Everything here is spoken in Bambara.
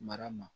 Mara ma